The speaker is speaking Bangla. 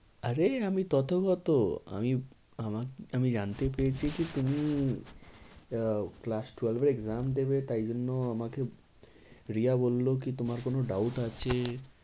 আরে আমি তথাগত আমি আমি জানতে পেরেছি যে তুমি আহ class twelve এ exam দেবে তাই জন্য আমাকে রিয়া বললো কি তোমার কোনো doubt আছে?